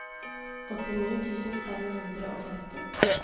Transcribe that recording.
åttini tusen fem hundre og femti